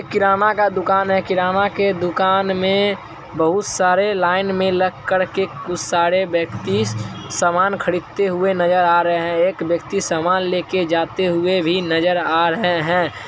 किराना का दुकान है किराने के दुकान में बहोत सारे लाइन में लग कर के कुछ सारे व्यक्ति सामान खरीदते हुये नजर आ रहे हैं एक व्यक्ति समान लेके जाते हुये भी नजर आ रहे हैं।